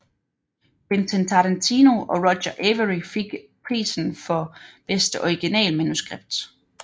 Quentin Tarantino og Roger Avary fik prisen for bedste originalmanuskript